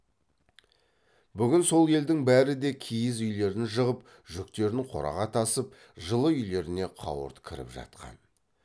бүгін сол елдің бәрі де киіз үйлерін жығып жүктерін қораға тасып жылы үйлеріне қауырт кіріп жатқан